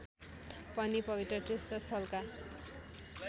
पनि पवित्र तीर्थस्थलका